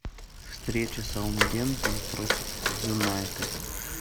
встреча саутгемптон против юнайтед